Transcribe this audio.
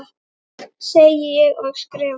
Segi ég og skrifa.